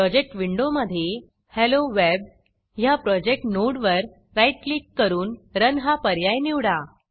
project विंडोमधे hello Webहेलो web ह्या प्रोजेक्ट नोडवर राईट क्लिक करून रन हा पर्याय निवडा